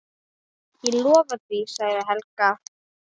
Ég lofa því, sagði Helga.